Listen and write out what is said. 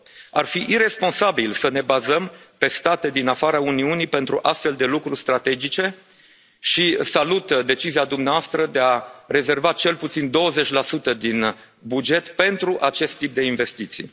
Ar fi iresponsabil să ne bazăm pe state din afara Uniunii pentru astfel de lucruri strategice și salut decizia dumneavoastră de a rezerva cel puțin 20 din buget pentru acest tip de investiții.